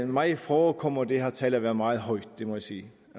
mig forekommer det her tal at være meget højt det må jeg sige